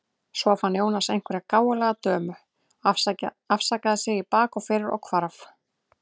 Svo fann Jónas einhverja gáfulega dömu, afsakaði sig í bak og fyrir og hvarf.